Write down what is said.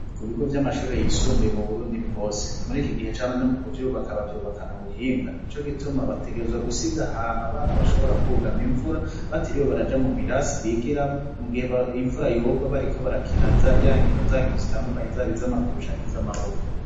Ku bigo vy'amashuri yisumbuye mu Burundi bwose, muri iki gihe ca none mu kuvyubaka bavyubakana ubuhinga; ni co gituma bategerezwa gusiga ahantu abana bashobora kwugama imvura batiriwe baraja mu birasi bigiramwo, mu gihe imvura yogwa bariko barakina ya nkino zankino zitandukanye, zaba iz'amaguru canke iz'amaboko.